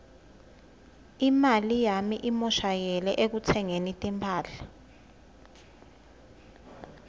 imali yami imoshakele ekutsengeni timphahla